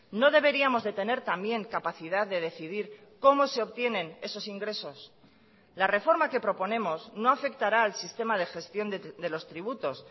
no deberíamos de tener también capacidad de decidir cómo se obtienen esos ingresos la reforma que proponemos no afectará al sistema de gestión de los tributos